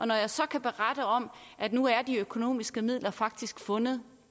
når jeg så kan berette om at nu er de økonomiske midler faktisk fundet